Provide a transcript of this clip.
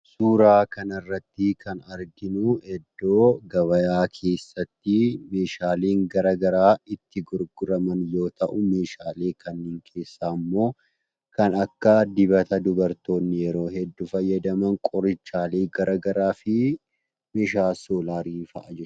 Suuraa kanarrattii kan arginuu iddoo gabayaa keessatti meeshaaleen gara garaa itti gurguraman yoo ta'u, meeshaalee kanneen keessaammoo kan akka: dibata dubartoonni yeroo hedduu fayyadaman, qorichaalee gara garaafi meeshaa soolaarii fa'a jechuudha.